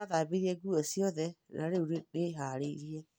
Nĩ ndathambire nguo ciothe na rĩu nĩ nĩhaarĩirie.